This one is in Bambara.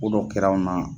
Ko dɔ kɛra anw na